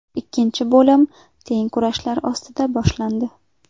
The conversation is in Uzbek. Ikkinchi bo‘lim teng kurashlar ostida boshlandi.